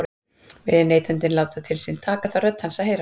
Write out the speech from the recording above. Vilji neytandinn láta til sín taka þarf rödd hans að heyrast.